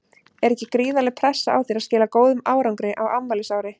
Er ekki gríðarleg pressa á þér að skila góðum árangri á afmælisári?